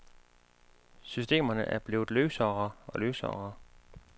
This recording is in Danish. Systemerne er blevet løsere og løsere.